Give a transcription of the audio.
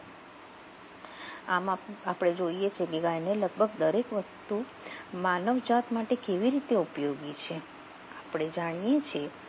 આમાં આપણે જોઈએ છે કે ગાયને લગભગ દરેક વસ્તુ માનવ જાત માટે આપણે જાણીએ છીએ